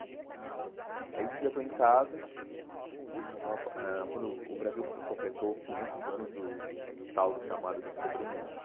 Aí um dia eu estou em casa, eu estava ãh quando o Brasil completou quinhentos anos do tal do chamado Descobrimento.